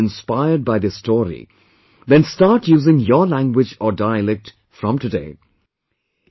If you too, have been inspired by this story, then start using your language or dialect from today